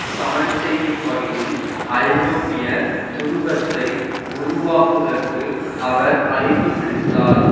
சமன் செய்யும் வகையில் ஐரோப்பிய துருவத்தை உருவாக்குதற்கு அவர் அழைப்பு விடுத்தார்